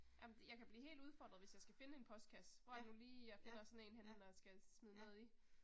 Jamen jeg kan blive helt udfordret hvis jeg skal finde en postkasse, hvor er det nu lige jeg finder sådan en henne når jeg skal smide noget i